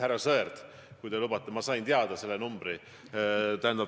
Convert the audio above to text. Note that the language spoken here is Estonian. Härra Sõerd, kui te lubate: ma sain teada selle numbri.